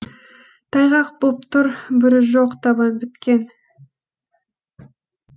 тайғақ боп тұр бүрі жоқ табан біткен